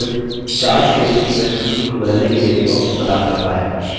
calc chart क्षेत्र की पृष्ठभूमि को बदलने के लिए भी option प्रदान करता है